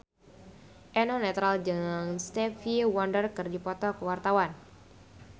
Eno Netral jeung Stevie Wonder keur dipoto ku wartawan